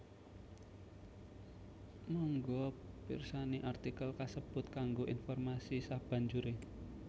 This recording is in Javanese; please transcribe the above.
Mangga pirsani artikel kasebut kanggo informasi sabanjuré